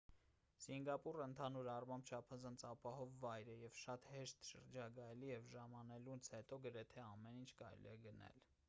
սինգապուրը ընդհանուր առմամբ չափազանց ապահով վայր է և շատ հեշտ շրջագայելի և ժամանելուց հետո գրեթե ամեն ինչ կարելի է գնել